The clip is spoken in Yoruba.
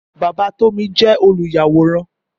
Bàbá Tómi jẹ́ olùyàwòrán